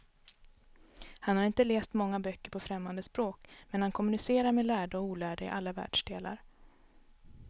Han har inte läst många böcker på främmande språk, men han kommunicerar med lärda och olärda i alla världsdelar.